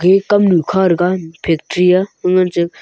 ekam nu kha taga factory ah hu ngan che.